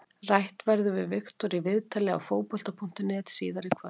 Rætt verður við Viktor í viðtali á Fótbolta.net síðar í kvöld.